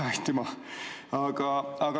Aitüma!